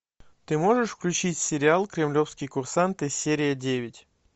ты можешь включить сериал кремлевские курсанты серия девять